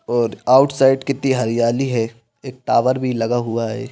और आउटसाइड कित्ती हरियाली है एक टावर भी लगा हुआ है।